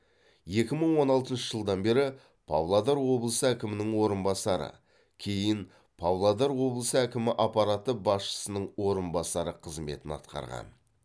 екі мың он алтыншы жылдан бері павлодар облысы әкімінің орынбасары кейін павлодар облысы әкімі аппараты басшысының орынбасары қызметін атқарған